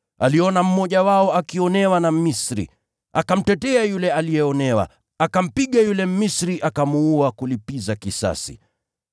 Aliona mmoja wao akidhulumiwa na Mmisri, akamtetea yule aliyeonewa, akampiga yule Mmisri akamuua kulipiza kisasi.